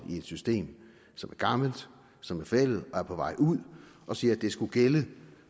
i et system som er gammelt som er forældet og er på vej ud og siger at det skal gælde